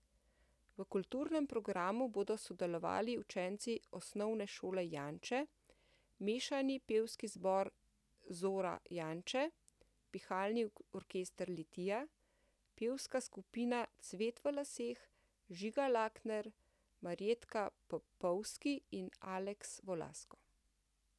V kulturnem programu bodo sodelovali učenci Osnovne šole Janče, mešani pevski zbor Zora Janče, pihalni orkester Litija, pevska skupina Cvet v laseh, Žiga Lakner, Marjetka Popovski in Aleks Volasko.